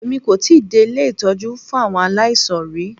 Èmi kò tíì dé ilé ìtọ́jú fún àwọn aláìsàn rí.